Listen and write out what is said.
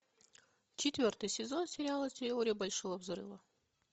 четвертый сезон сериала теория большого взрыва